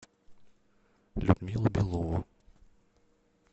людмилу белову